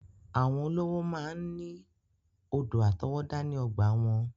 Àwọn olówó máa ń ní odò àtọwọ́dá ní ọgbàa wọn.